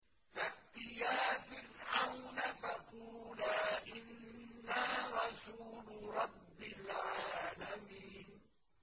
فَأْتِيَا فِرْعَوْنَ فَقُولَا إِنَّا رَسُولُ رَبِّ الْعَالَمِينَ